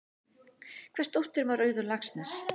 Hvers dóttir var Auður Laxness?